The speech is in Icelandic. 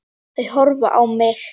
Þau horfa á mig.